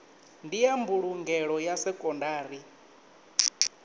ndi ya mbulungelo ya sekondari